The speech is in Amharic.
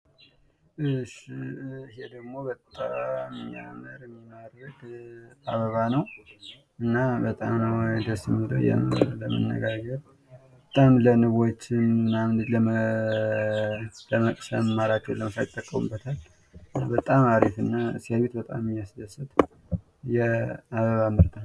እሽ ይሄድግሞ በጣም የሚያምረው አበባ ነው ::ለንቦች ምቹ የሆነ ነው ::እና ሲያዩት በጣም የሚያስደስት የአበባ አይነት ነው ::